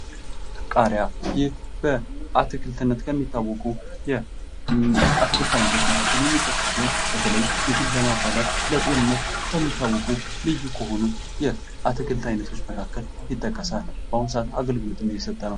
ቃሪያ ይህ በአትክልትነት ከሚታወቁ የአትክልት አይነቶች መካከል የሚጠቀስ ሲሆን በተለይ ምግብ ለማባላት ፣ ለጤንነት ከሚታወቁ ልዩ ከሆኑ የአትክልት አይነቶች መካከል ይጠቀሳል ። በአሁን ሰዓት አገልግሎትም እየሰጠ ነው ።